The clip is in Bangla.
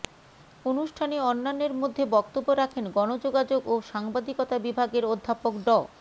অনুষ্ঠানে অন্যান্যের মধ্যে বক্তব্য রাখেন গণযোগাযোগ ও সাংবাদিকতা বিভাগের অধ্যাপক ড